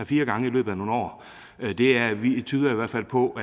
fire gange i løbet af nogle år tyder i hvert fald på